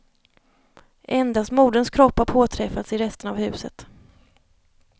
Endast moderns kropp har påträffats i resterna av huset.